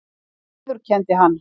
Já viðurkenndi hann.